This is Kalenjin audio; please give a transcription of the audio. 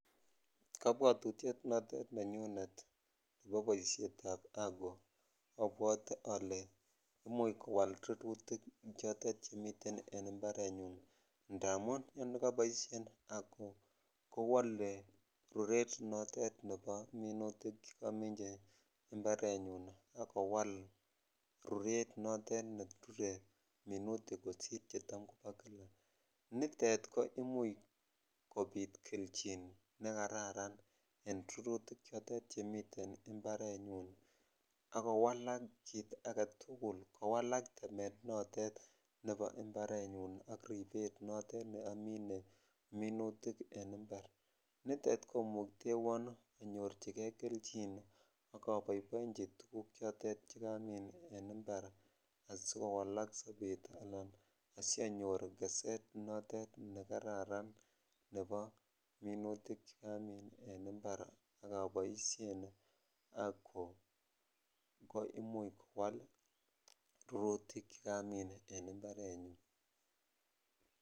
Kobwotutiet notet nenyunet en boisietab ago abwote olee imuch kowal rurutik chotet chemiten imbarenyun ndamun yekoboishen ago kowole ruret notet nebo minutik chekominchi imbarenyun ak kowal ruret netot nerure minutik kosir chetam kobo kila, nitet ko imuch kobit kelchin nekararan en minutik chemiten imbarenyun ak kowalak kiit aketukul kowalak temetab imbarenyun ak ribet notet neoribe minutik en imbar, nitet komuktewon onyorchike kelchin ak anyorchike tukuchotet chekamin en imbar asikowalak sobet alaan asionyor sobet notet nekararan nebo minutik chekamin en imbar ak oboishen ago ak ko imuch kwal rurutik chekamin en imbarenyun.